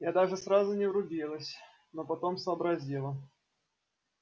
я даже сразу не врубилась но потом сообразила